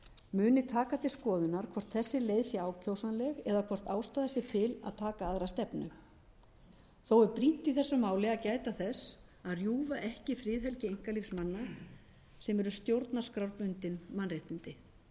muni taka til skoðunar hvort þessi leið sé ákjósanleg eða hvort ástæða sé til að taka aðra stefnu þó er brýnt í þessu máli að gæta þess að rjúfa ekki friðhelgi einkalífs manna sem eru stjórnarskrárbundin mannréttindi